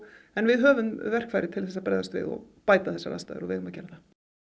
en við höfum verkfæri til þess að bregðast við og bæta þessar aðstæður og við eigum að gera það